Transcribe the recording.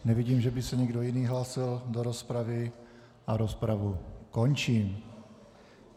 Nevidím, že by se někdo jiný hlásil do rozpravy a rozpravu končím.